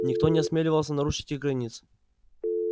никто не осмеливался нарушить их границ